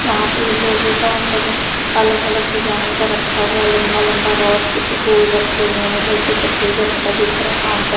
यहां पे लोहे का सब अलग अलग डिजाइन का रखा हुआ है लंबा लंबा रॉड कुछ गोल रखे हुए हैं उधर कुछ सफेद रंग का दिख रहा है काउंटर ।